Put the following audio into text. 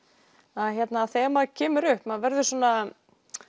að þegar maður kemur upp maður verður svona